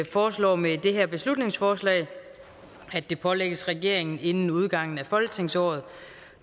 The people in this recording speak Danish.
foreslår med det her beslutningsforslag at det pålægges regeringen inden udgangen af folketingsåret